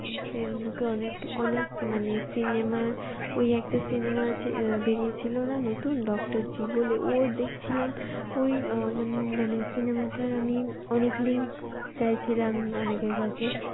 ফেইসবুকে অনেক অনেক মানে cinema র ওই একটা cinema আছে আহ বেরিয়েছিল না নতুন ডক্টরজি বলে ওর দেখছিলাম ওই আহ মান~মানে cinema টার আমি অনেক link চাই ছিলাম অনেকের কাছে